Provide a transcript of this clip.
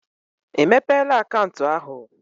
I mepela akaụntụ ahụ?